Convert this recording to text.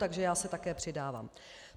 Takže já se také přidávám.